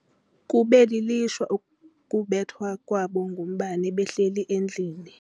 Kube lilishwa ukubethwa kwabo ngumbane behleli endlini.